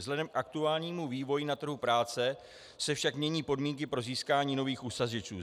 Vzhledem k aktuálnímu vývoji na trhu práce se však mění podmínky pro získání nových uchazečů.